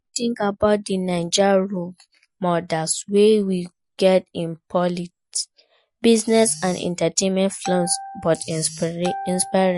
Wetin you think about di Naija role models wey we get in politics, business and entertainment, flawed but inspiring?